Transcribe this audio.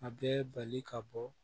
A bɛ bali ka bɔ